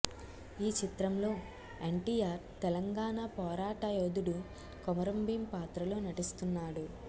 ఈ చిత్రంలో ఎన్టీఆర్ తెలంగాణ పోరాట యోధుడు కొమరం భీం పాత్రలో నటిస్తున్నాడు